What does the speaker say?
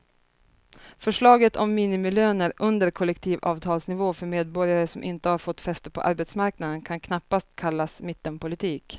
Förslaget om minimilöner under kollektivavtalsnivå för medborgare som inte har fått fäste på arbetsmarknaden kan knappast kallas mittenpolitik.